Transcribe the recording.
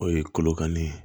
O ye kolokanni ye